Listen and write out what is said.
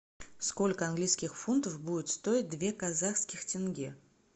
сколько английских фунтов будет стоить две казахских тенге